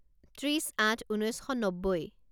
ত্ৰিছ আঠ ঊনৈছ শ নব্বৈ